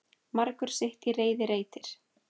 Margur sitt í reiði reytir.